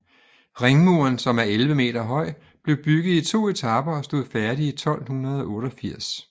Ringmuren som er 11 meter høj blev bygget i to etaper og stod færdig i 1288